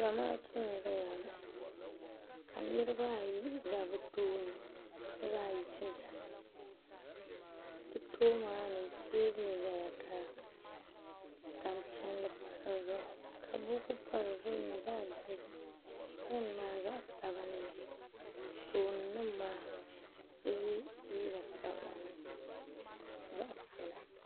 sambani ni m-bɔŋɔ niriba nyɛla ban be sambani dapaɣila maa nyɛla zaɣ' piɛlli ka shɛli pa zaɣ' piɛlli paɣa nyɛla ŋun be tooni ka zaŋ sipiika n-zaŋ kpa o noli ka paɣ' so ɡba zaa ha nyɛ ŋun ʒiya ka ɡbubi tan' ʒee so ɡba nyɛla ŋun ʒi o luɣili zuɣu ka ɡb